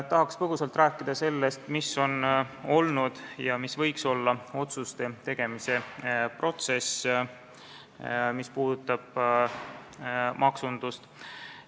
Tahaks põgusalt rääkida sellest, milline on olnud ja milline võiks olla nende otsuste tegemise protsess, mis puudutavad maksundust.